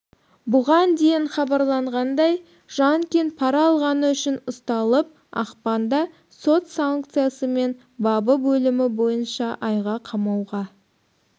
бұған дейін хабарланғандай жанкин пара алғаны үшін ұсталып ақпанда сот санкциясымен бабы бөлімі бойынша айға қамауға